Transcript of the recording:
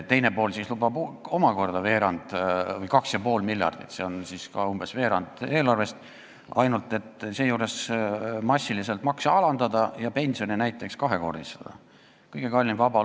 Teine pool lubab omakorda 2,5 miljardit, s.o umbes veerand eelarvest, ainult et seejuures lubatakse massiliselt makse alandada ja näiteks pensione kahekordistada.